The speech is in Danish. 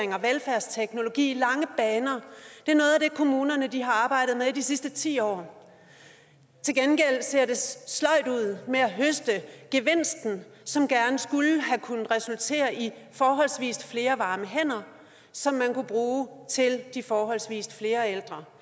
og velfærdsteknologi i lange baner er noget af det kommunerne har arbejdet med i de sidste ti år til gengæld ser det sløjt ud med at høste gevinsten som gerne skulle have resulteret i forholdsvis flere varme hænder som man kunne bruge til de forholdsvis flere ældre